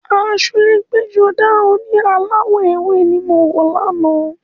Aṣọ ẹgbẹ́-jọdá oní aláwọ̀ ewé ni mo wọ̀ ní àná.